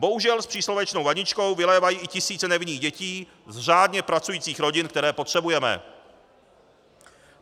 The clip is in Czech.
Bohužel, s příslovečnou vaničkou vylévají i tisíce nevinných dětí z řádně pracujících rodin, které potřebujeme.